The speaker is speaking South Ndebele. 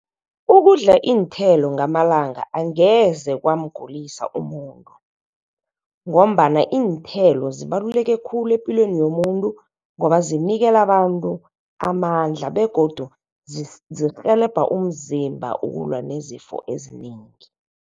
Ukudla iinthelo ngamalanga angeze kwamgulisa umuntu ngombana iinthelo zibaluleke khulu epilweni yomuntu ngoba zinikela abantu amandla, begodu zirhelebha umzimba ukulwa nezifo ezinengi.